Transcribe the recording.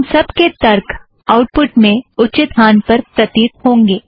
इन सब के तर्क आउटपुट में उचित स्थान पर प्रतीत होगा